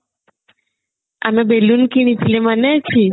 ଆମେ ବେଲୁନ କିଣିଥିଲେ ମନେ ଅଛି